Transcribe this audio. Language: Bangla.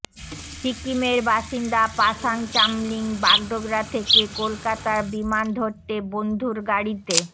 সিকিমের বাসিন্দা পাশাং চামলিং বাগডোগরা থেকে কলকাতার বিমান ধরতে বন্ধুর গাড়িতে